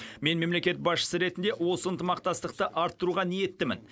мен мемлекет басшысы ретінде осы ынтымақтастықты арттыруға ниеттімін